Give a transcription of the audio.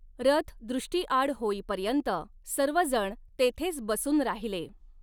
रथ दृष्टिआड होईपर्यंत सर्वजण तेथेच बसून राहिले.